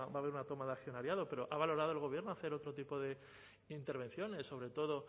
haber una toma de accionariado pero ha valorado el gobierno hacer otro tipo de intervenciones sobre todo